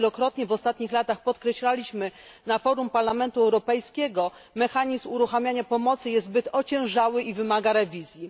Jak wielokrotnie w ostatnich latach podkreślaliśmy na forum Parlamentu Europejskiego, mechanizm uruchamiania pomocy jest zbyt ociężały i wymaga rewizji.